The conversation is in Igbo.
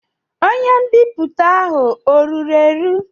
Onye mbipụta ahụ ọ ruru eru?